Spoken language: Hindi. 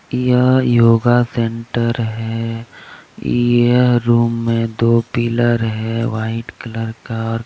यह योगा सेंटर हे यह रूम में दो पिलर है व्हाइट कलर का और का --